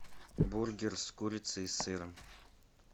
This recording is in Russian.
бургер с курицей и сыром